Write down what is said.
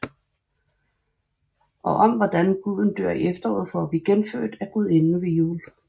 Og om hvordan Guden dør i efteråret for at blive genfødt af Gudinden ved Yule